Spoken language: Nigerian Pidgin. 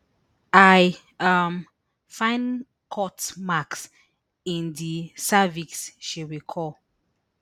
i um find cut marks in di cervix she recall